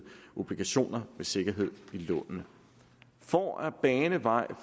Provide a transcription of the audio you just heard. obligationer med sikkerhed i lånene for at bane vej